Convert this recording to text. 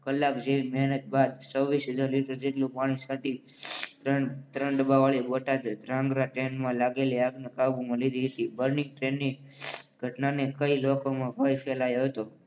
કલાક જેવી મહેનત બાદ છવ્વીસ હજાર લિટર જેટલું પાણી છાંટી ત્રણ ડબ્બા વાળી ટ્રેન બોટાદ ઢાંગરા ટ્રેનમાં લાગેલી આગની કાબુમાં લીધી. ધ બર્નિંગ ટ્રેનની ઘટનાને કઈ લોકોમાં ભય ફેલાયો હતો.